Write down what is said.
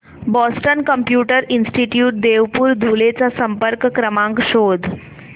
Boston computer institute Deopur Dhule चा संपर्क क्रमांक शोध